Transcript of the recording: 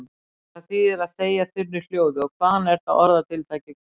Hvað þýðir að þegja þunnu hljóði og hvaðan er þetta orðatiltæki komið?